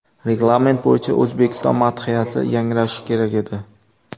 Reglament bo‘yicha O‘zbekiston madhiyasi yangrashi kerak edi”.